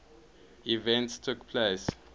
events took place